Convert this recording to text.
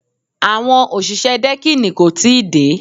Àwọn òṣìṣẹ́ dẹ́kìnì kò tí ì dé